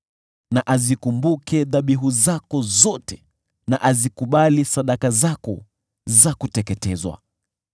Na azikumbuke dhabihu zako zote, na azikubali sadaka zako za kuteketezwa.